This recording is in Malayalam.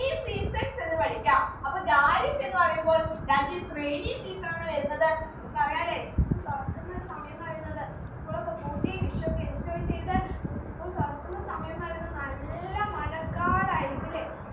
rainy seasons എന്ന് പടിക്ക അപ്പൊ ഖാരിഫ് എന്ന് പറയുമ്പോൾ that is rainy season ആണ് വരുന്നത് നമുക്കറിയാല്ലേ school തുറക്കുന്ന ഒരു സമയംന്ന് പറയുന്നത് school ഒക്കെ പൂട്ടി വിഷു ഒക്കെ enjoy ചെയ്ത് ഉം school തുറക്കുന്ന സമയംന്ന് പറയുന്നെ നല്ല മഴക്കാലം ആയിരിക്കുവല്ലേ